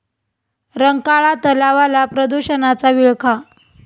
रंकाळा तलावाला प्रदूषणाचा विळखा